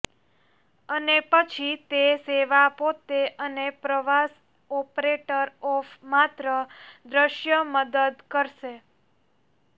અને પછી તે સેવા પોતે અને પ્રવાસ ઓપરેટર ઓફ માત્ર દૃશ્ય મદદ કરશે